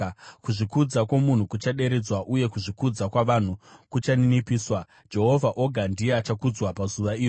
Kuzvikudza kwomunhu kuchaderedzwa, uye kuzvikudza kwavanhu kuchaninipiswa; Jehovha oga ndiye achakudzwa pazuva iro,